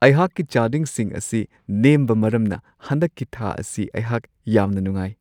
ꯑꯩꯍꯥꯛꯀꯤ ꯆꯥꯗꯤꯡꯁꯤꯡ ꯑꯁꯤ ꯅꯦꯝꯕ ꯃꯔꯝꯅ ꯍꯟꯗꯛꯀꯤ ꯊꯥ ꯑꯁꯤ ꯑꯩꯍꯥꯛ ꯌꯥꯝꯅ ꯅꯨꯡꯉꯥꯏ ꯫